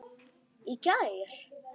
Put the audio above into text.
Í gær?